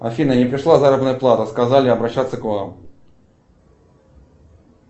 афина не пришла заработная плата сказали обращаться к вам